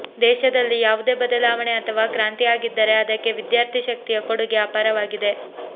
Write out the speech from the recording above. ದೇಶದಲ್ಲಿ ಯಾವುದೇ ಬದಲಾವಣೆ ಅಥವಾ ಕ್ರಾಂತಿ ಆಗಿದ್ದರೆ ಅದಕ್ಕೆ ವಿದ್ಯಾರ್ಥಿ ಶಕ್ತಿಯ ಕೊಡುಗೆ ಅಪಾರವಾಗಿದೆ